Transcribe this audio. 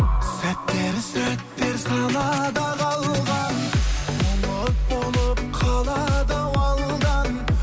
сәттер сәттер санада қалған ұмыт болып қалады ау алдан